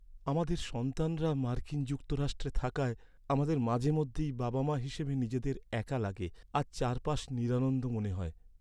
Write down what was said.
আমাদের সন্তানরা মার্কিন যুক্তরাষ্ট্রে থাকায়, আমাদের মাঝেমধ্যেই বাবা মা হিসেবে নিজেদের একা লাগে আর চারপাশ নিরানন্দ মনে হয়।